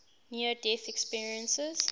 near death experiences